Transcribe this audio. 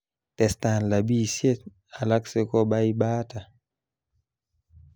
Testan labisiet alak sikobaibata